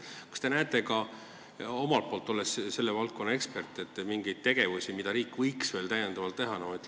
Kas te näete, olles selle valdkonna ekspert, mingeid asju, mida riik võiks veel teha?